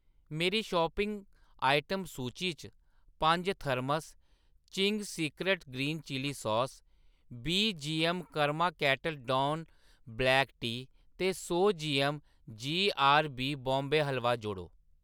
मेरी shopping item सूची च पंज thermos Ching's secret green chilli sauce, बीह् G M karma kettle don black tea ते सौ जीऐम्म जीआरबी बॉम्बे हलवा जोड़ो